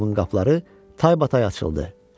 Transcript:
qapıları taybatay açıldı.